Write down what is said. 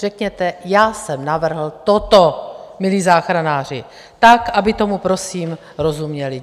Řekněte "já jsem navrhl toto, milí záchranáři", tak aby tomu prosím rozuměli.